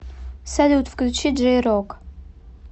салют включи джей рок